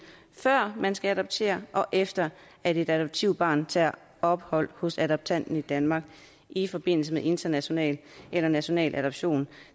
før man skal adoptere og efter at et adoptivbarn tager ophold hos adoptanten i danmark i forbindelse med international eller national adoption